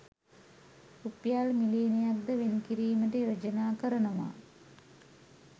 රුපියල් මිලියනක් ද වෙන් කිරීමට යෝජනා කරනවා